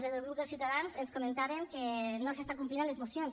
des del grup de ciutadans ens comentaven que no s’està complint amb les mocions